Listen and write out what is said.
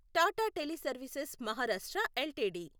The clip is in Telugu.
Tata teleservices Maharashtra LTD